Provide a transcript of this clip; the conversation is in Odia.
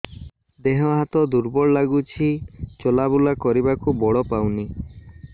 ଦେହ ହାତ ଦୁର୍ବଳ ଲାଗୁଛି ଚଲାବୁଲା କରିବାକୁ ବଳ ପାଉନି